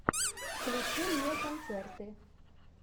включи мне концерты